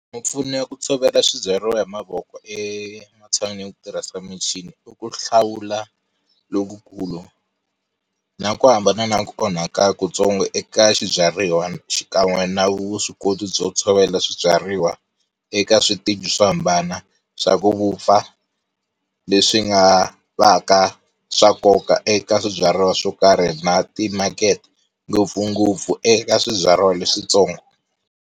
Mimpfuno ya ku tshovela swibyariwa hi mavoko ematshan'wini yo tirhisa michini i ku hlawula lokukulu na ku hambana na ku onhaka ku tsongo eka swibyariwa xikan'we na vuswikoti byo tshovela swibyariwa eka switeji swo hambana swa ku vupfa, leswi nga va ka swa nkoka eka swibyariwa swo karhi na ti-market-e ngopfungopfu eka swibyariwa leswitsongo.